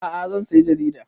A'a zan saya jaridar